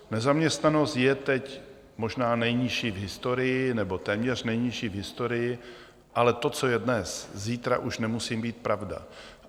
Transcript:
Nezaměstnanost je teď možná nejnižší v historii, nebo téměř nejnižší v historii, ale to, co je dnes, zítra už nemusí být pravda.